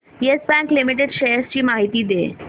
yes Bank Limited shares ची माहिती दे